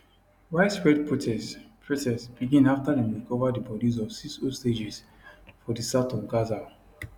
widespread protests protests begin afta dem recova di bodis of six hostages for di south of gaza